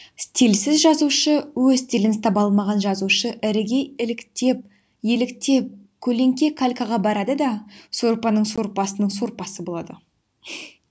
стильсіз жазушы өз стилін таба алмаған жазушы іріге еліктеп көлеңке калькаға барады да сорпаның сорпасының сорпасы болады